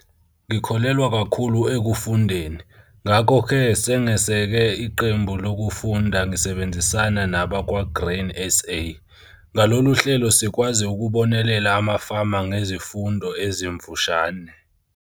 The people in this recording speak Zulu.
Ngikholelwa kakhulu ekufundeni, ngakho-ke sengeseke iqembu lokufunda ngisebenzisana nabakwa-Grain SA. Ngalolu hlelo sikwazi ukubonelela amafama ngezifundo ezimfushane.